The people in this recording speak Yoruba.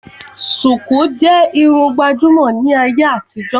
Sùkú jẹ́ Irun gbàjúmọ̀ ní ayé àtijó